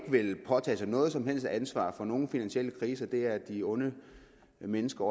vil ikke påtage sig noget som helst ansvar for nogen finansielle kriser det er de onde mennesker